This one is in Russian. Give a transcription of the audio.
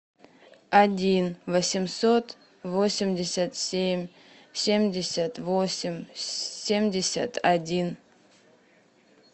один восемьсот восемьдесят семь семьдесят восемь семьдесят один